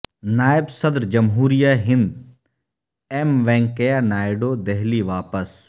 نائب صدر جمہوریہ ہند ایم وینکیا نائیڈو دہلی واپس